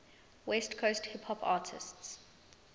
west coast hip hop artists